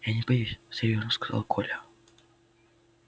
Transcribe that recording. я не боюсь серьёзно сказал коля